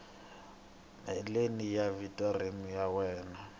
heleni ka vhiki rin wana